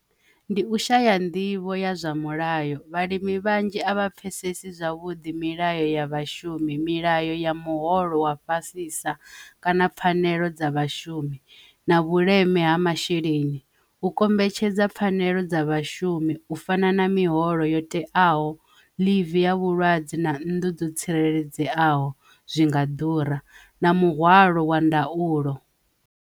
Ndi u shaya nḓivho ya zwa mulayo vhalimi vhanzhi a vha pfhesesi zwavhuḓi milayo ya vhashumi, milayo ya muholo wa fhasisa kana pfhanelo dza vhashumi na vhuleme ha masheleni u kombetshedza pfhanelo dza vhashumi u fana na miholo yo teaho leave ya vhulwadze na nnḓu ḓo tsireledzeaho zwi nga ḓura na muhwalo wa ndaulo.